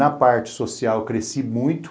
Na parte social, cresci muito.